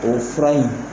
O fura in